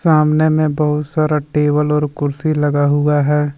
सामने में बहुत सारा टेबल और कुर्सी लगा हुआ है।